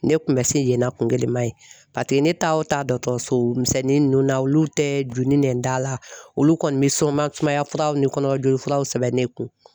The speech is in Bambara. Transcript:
Ne kun bɛ se yennɔ kungilɛma ye paseke ne taa o taa dɔgɔtɔrɔso misɛnnin ninnu na olu ni nɛn da la olu kɔni bɛ sunba sumaya furaw ni kɔnɔmaya jolila sɛbɛn ne kun.